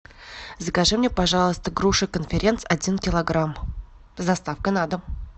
закажи мне пожалуйста груши конференц один килограмм с доставкой на дом